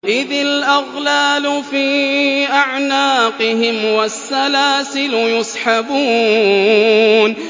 إِذِ الْأَغْلَالُ فِي أَعْنَاقِهِمْ وَالسَّلَاسِلُ يُسْحَبُونَ